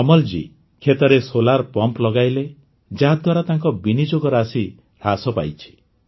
କମଲ୍ ଜୀ କ୍ଷେତରେ solar pump ଲଗାଇଲେ ଯାହାଦ୍ୱାରା ତାଙ୍କ ବିନିଯୋଗ ରାଶି ହ୍ରାସ ପାଇଛି